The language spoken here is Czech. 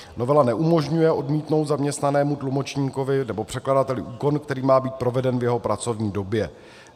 Novela neumožňuje odmítnout zaměstnanému tlumočníkovi nebo překladateli úkon, který má být proveden v jeho pracovní době.